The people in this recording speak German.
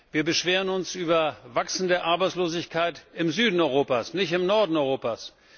Wir beschweren uns über wachsende Arbeitslosigkeit im Süden Europas, nicht im Norden Europas.